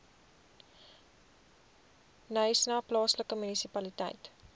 knysna plaaslike munisipaliteit